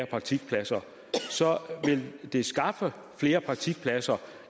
praktikpladser vil det skaffe flere praktikpladser